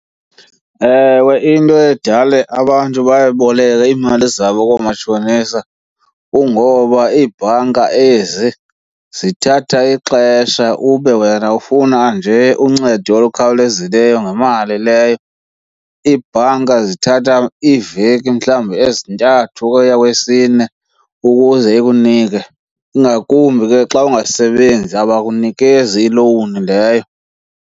Ewe, into edale abantu bayoboleka iimali zabo koomatshonisa kungoba iibhanka ezi zithatha ixesha ube wena ufuna nje uncedo olukhawulezileyo ngemali leyo. Iibhanka zithatha iiveki mhlawumbi ezintathu ukuya kweyesine ukuze ikunike, ingakumbi ke xa ungasebenzi abakunikeze ilowuni leyo.